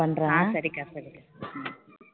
ஆஹ் சரிக்கா சரிக்கா